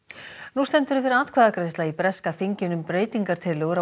nú stendur yfir atkvæðagreiðsla í breska þinginu um breytingartillögur